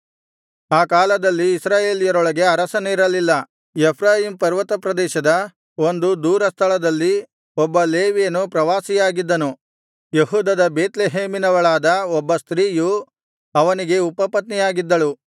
ಆ ಕಾಲದಲ್ಲಿ ಇಸ್ರಾಯೇಲ್ಯರೊಳಗೆ ಅರಸನಿರಲಿಲ್ಲ ಎಫ್ರಾಯೀಮ್ ಪರ್ವತಪ್ರದೇಶದ ಒಂದು ದೂರ ಸ್ಥಳದಲ್ಲಿ ಒಬ್ಬ ಲೇವಿಯನು ಪ್ರವಾಸಿಯಾಗಿದ್ದನು ಯೆಹೂದದ ಬೇತ್ಲೆಹೇಮಿನವಳಾದ ಒಬ್ಬ ಸ್ತ್ರೀಯು ಅವನಿಗೆ ಉಪಪತ್ನಿಯಾಗಿದ್ದಳು